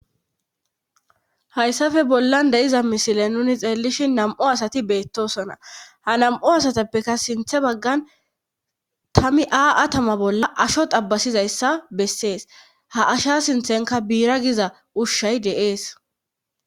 Hayssafe bollan de'iza misile nuni xeellishi nam'u asati beettosona ha nam7o asatappeka sinthe baggan tammi aa atama bolla asho xabasizayssa bessees ha asha sinthenka biira giza ushshay de'ees.